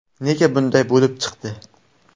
Nega bunday bo‘lib chiqdi?